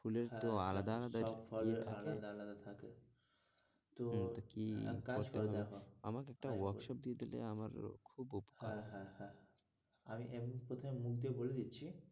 ফুলের তো আলাদা-আলাদা হ্যাঁ, হ্যাঁ অব ফুলের আলাদা-আলাদা থাকে তো কি কাজ করবে এখন আমাকে একটা workshop দিয়ে দিলে আমার খুব উপকার হয় হ্যাঁ, হ্যাঁ, হ্যাঁ আমি এমনি কথাই মুখ দিয়ে বলে দিচ্ছি,